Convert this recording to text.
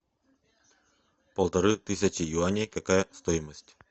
полторы тысячи юаней какая стоимость